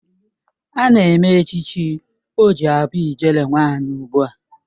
Ana eme echichi ọ ji abụ ijele nwanyi ugbua.